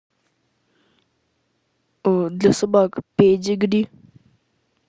для собак педигри